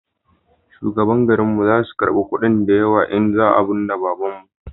shugabannin garin mu za su karba kudi da yawa in za mu binne babanmu